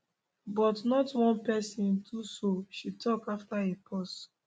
but not one person do so she tok after a pause